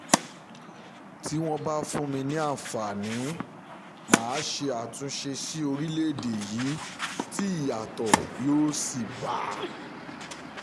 tí wọ́n bá fún mi ní àǹfààní mà á ṣe àtúnṣe sí orílẹ̀‐èdè yìí tí ìyàtọ̀ yóò sì bá a